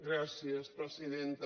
gràcies presidenta